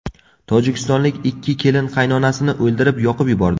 Tojikistonlik ikki kelin qaynonasini o‘ldirib, yoqib yubordi.